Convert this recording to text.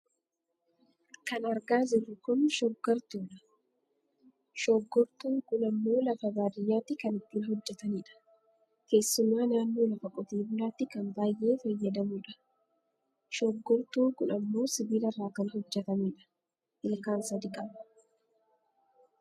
Kan argaa jirru kun shooggortuudha. Shooggortuun kun ammoo lafa baadiyyaatti kan ittiin hojjatanidha. Keessumaa naannoo lafa qote bulaatti kan baayyee fayyadamudha. Shooggortuun kun ammoo sibiilarraa kan hojjatame dha. Ilkaan sadi qaba.